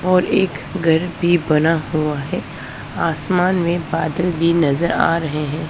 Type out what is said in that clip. और एक घर भी बना हुआ है आसमान में बादल भी नजर आ रहे हैं।